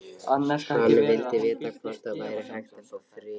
Hann vildi vita hvort það væri hægt að fá frið.